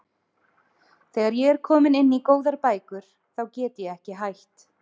Þegar ég er komin inn í góðar bækur þá get ég ekki hætt.